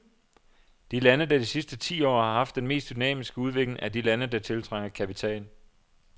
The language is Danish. De lande, der de sidste ti år har haft den mest dynamiske udvikling, er de lande, der tiltrækker kapital.